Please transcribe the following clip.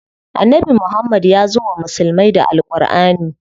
Annabi Muhammad yazo wa musulmai da Al Ƙurʼani.